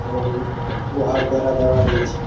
এবং লোহার বেড়া দেওয়া রয়েছে।